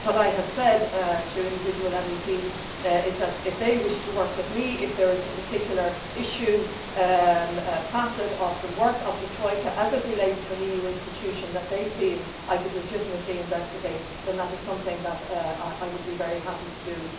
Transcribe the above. What I have said to individual MEPs is that, if they wish to work with me and if there is a particular issue or facet of the work of the Troika, as it relates to an EU institution, that they feel I could legitimately investigate, then that is something that I would be very happy to do.